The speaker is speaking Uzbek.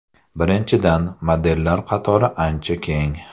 Birinchidan, modellar qatori ancha keng.